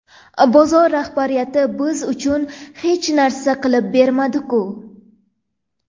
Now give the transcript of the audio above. Bozor rahbariyati biz uchun hech narsa qilib bermadi-ku?